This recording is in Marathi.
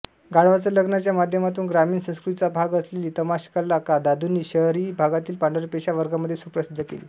गाढवाचं लग्नच्या माध्यमातून ग्रामीण संस्कृतीचा भाग असलेली तमाशाकला दादुंनी शहरी भागातील पांढरपेशा वर्गामध्ये सुप्रसिद्ध केली